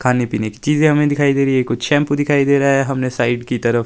खाने पीने की चीजें हमें दिखाई दे रही है कुछ शैम्पू दिखाई दे रहा हमें साइड की तरफ--